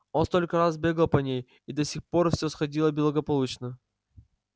он столько раз бегал по ней и до сих пор всё сходило благополучно